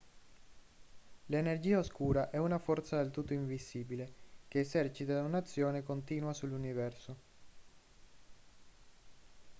l'energia oscura è una forza del tutto invisibile che esercita un'azione continua sull'universo